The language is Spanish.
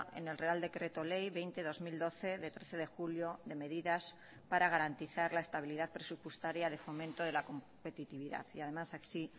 en el real decreto ley veinte barra dos mil doce de trece de julio de medidas para garantizar la estabilidad presupuestaria de fomento de la competitividad y además así